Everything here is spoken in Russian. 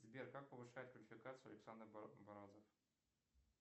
сбер как повышает квалификацию александр бразов